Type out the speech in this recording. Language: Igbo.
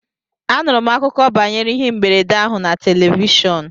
Anụrụ m akụkọ banyere ihe mberede ahụ na telivishọn